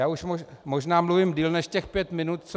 Já už možná mluvím déle než těch pět minut, co -